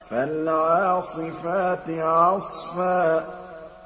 فَالْعَاصِفَاتِ عَصْفًا